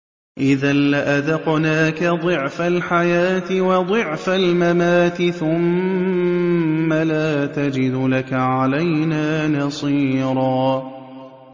إِذًا لَّأَذَقْنَاكَ ضِعْفَ الْحَيَاةِ وَضِعْفَ الْمَمَاتِ ثُمَّ لَا تَجِدُ لَكَ عَلَيْنَا نَصِيرًا